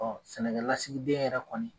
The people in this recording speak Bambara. Ɔ sɛnɛlasigiden yɛrɛ kɔni